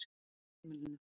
Dvalarheimilinu